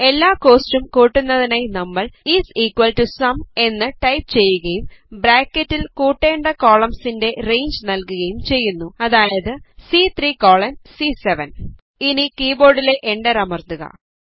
എല്ലാ കോസ്റ്റ്സും കൂട്ടുന്നതിനായി നമ്മൾ ഐഎസ് ഇക്വൽ ടോ സും എന്ന് ടൈപ് ചെയ്യുകയും ബ്രാക്കറ്റിൽ കൂട്ടേണ്ട കോളംസിൻറെ റേഞ്ച് നല്കുകയും ചെയ്യുന്നു അതായത്C3 കോളൻ സി7 ഇനി കീബോർഡിലെ Enter അമർത്തുക